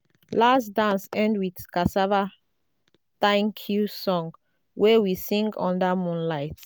last dance end with cassava thank-you song wey we sing under moonlight.